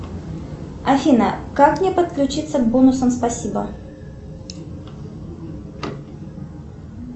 афина как мне подключиться к бонусам спасибо